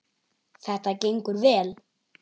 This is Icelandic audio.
Þetta gengur vel.